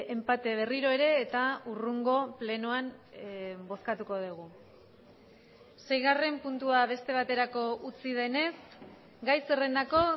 enpate berriro ere eta hurrengo plenoan bozkatuko dugu seigarren puntua beste baterako utzi denez gai zerrendako